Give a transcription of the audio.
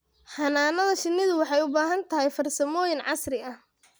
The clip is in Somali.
Xannaanada shinnidu waxay u baahan tahay farsamooyin casri ah.